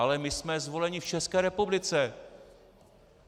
Ale my jsme zvoleni v České republice!